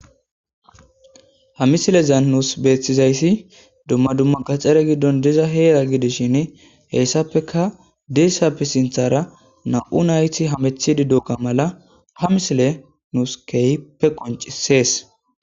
Ha misilezan nusi betizayisi gaxxare giddoni diza Heera giddishini heyisapoekja deizaysapoe sinththara namu nayiti hamutidi diyo mala ha misileyi nusi kehippe qonccisesi